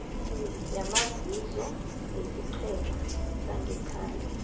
yamazizo yesiqhema sangekhaya